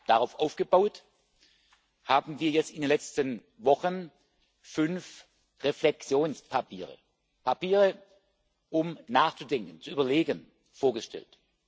Darauf aufgebaut haben wir jetzt in den letzten Wochen fünf Reflexionspapiere Papiere, um nachzudenken, zu überlegen vorgestellt.